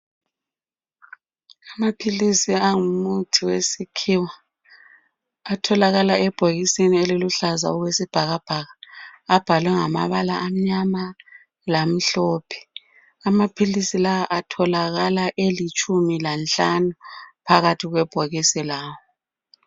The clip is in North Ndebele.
Amaphilisi angumuthi wesikhiwa atholakala ebhokisini eluluhlaza okwe sibhakabhaka abhalwe ngamabala amnyama lamhlophe, amaphilisi lawa atholakala elitshumi lanhlanu phakathi kwebhokisi lawo.